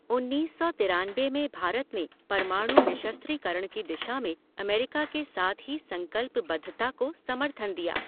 उन्नीस सौ तिरानबे में भारत ने परमाणु निःशस्त्रीकरण की दिशा में अमेरिका के साथ ही संकल्पबद्धता को समर्थन दिया।